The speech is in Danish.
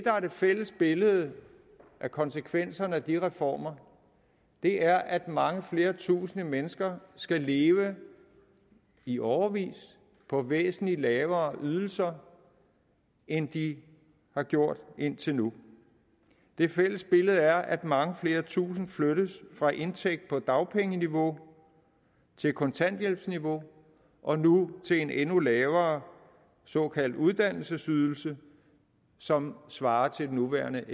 er det fælles billede af konsekvenserne af de reformer er at mange flere tusind mennesker skal leve i årevis på væsentlig lavere ydelser end de har gjort indtil nu det fælles billede er at mange flere tusinde flyttes fra en indtægt på dagpengeniveau til kontanthjælpsniveau og nu til en endnu lavere såkaldt uddannelsesydelse som svarer til den nuværende